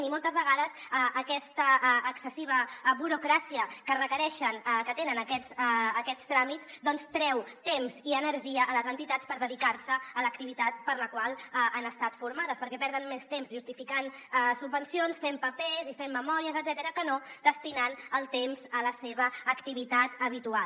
i moltes vegades aquesta excessiva burocràcia que requereixen que tenen aquests tràmits doncs treu temps i energia a les entitats per dedicar se a l’activitat per a la qual han estat formades perquè perden més temps justificant subvencions fent papers i fent memòries etcètera que no destinant el temps a la seva activitat habitual